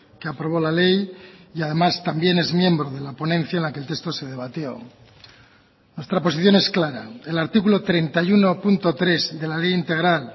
que aprobó la ley y además también es miembro de la ponencia en la que el texto se debatió nuestra posición es clara el artículo treinta y uno punto tres de la ley integral